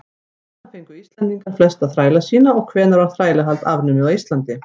hvaðan fengu íslendingar flesta þræla sína og hvenær var þrælahald afnumið á íslandi